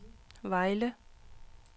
Vejle